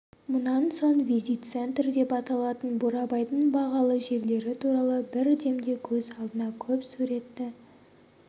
мұнан соң визит центр деп аталатын бурабайдың бағалы жерлері туралы бір демде көз алдыңа көп суретті